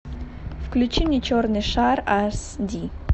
включи мне черный шар аш ди